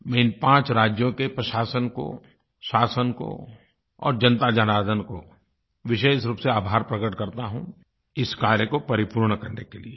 मैं इन पाँच राज्यों के प्रशासन को शासन को और जनताजनार्दन को विशेष रूप से आभार प्रकट करता हूँ इस कार्य को परिपूर्ण करने के लिये